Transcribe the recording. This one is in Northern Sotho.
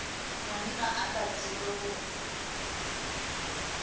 monna o sa tsebe gore